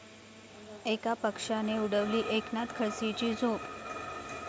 एका पक्षाने उडवली एकनाथ खडसेंची झोप